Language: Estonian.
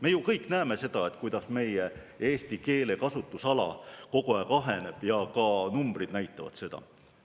Me ju kõik näeme, kuidas meie eesti keele kasutusala kogu aeg aheneb, ka numbrid näitavad seda.